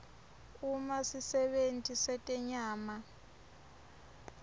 uma sisebenti setenyama